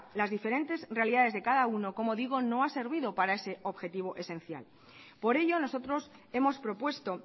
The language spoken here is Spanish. las diferentes realidades de cada uno como digo no ha servido para ese objetivo esencial por ello nosotros hemos propuesto